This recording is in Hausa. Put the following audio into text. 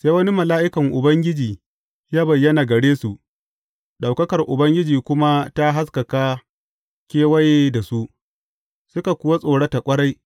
Sai wani mala’ikan Ubangiji ya bayyana gare su, ɗaukakar Ubangiji kuma ta haskaka kewaye da su, suka kuwa tsorata ƙwarai.